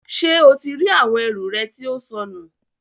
Ṣe o ti ri awọn ẹru rẹ tí ó sọnù?